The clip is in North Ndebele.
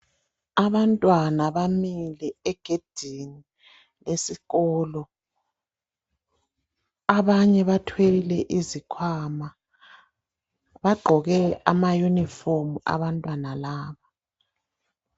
Abantwana bamile egedini esikolo. Abanye bathwele izikhwama. Bagqoke ama uniform abantwana laba.